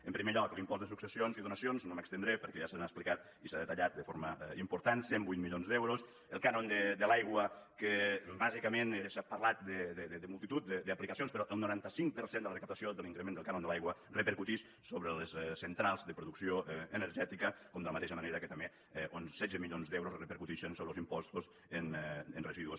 en primer lloc l’impost de successions i donacions no m’hi estendré perquè ja s’ha explicat i s’ha detallat de forma important cent i vuit milions d’euros el cànon de l’aigua que bàsicament s’ha parlat de multitud d’aplicacions però el noranta cinc per cent de la recaptació de l’increment del cànon de l’aigua repercuteix sobre les centrals de producció energètica com de la mateixa manera que també uns setze milions d’euros repercuteixen sobre els impostos en residus